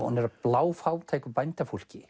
hún er af bláfátæku bændafólki